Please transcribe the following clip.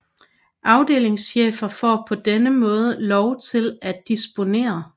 Afdelingschefer får på denne måde lov til at disponere